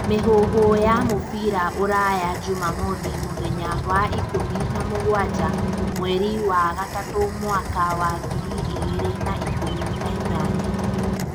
Mĩhuhu ya mũbira ũraya njumamothi Mũthenya wa ikumi na mũgwanja mweri wa gatatũ mwaka wa ngiri igĩrĩ na ikũmi na inyanya